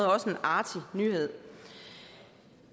også en artig nyhed